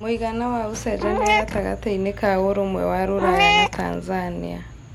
mũigana wa ũcenjanĩa gatagatiinĩ ka ũrũmwe wa rũraya na Tanzania